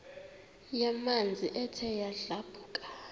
yamanzi ethe yadlabhuka